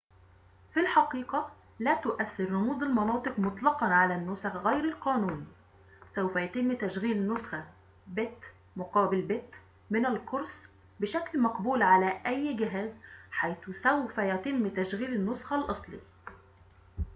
في الحقيقة لا تؤثر رموز المناطق مطلقاً على النسخ غير القانوني سوف يتم تشغيل نسخة بت-مقابل-بت من القرص بشكل مقبول على أي جهاز حيث سوف يتم تشغيل النسخة الأصلية